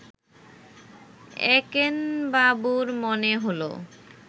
একেনবাবুর মনে হল